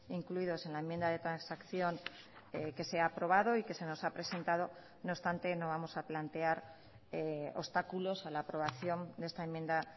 incluidos en la enmienda de transacción que se ha aprobado y que se nos ha presentado no obstante no vamos a plantear obstáculos a la aprobación de esta enmienda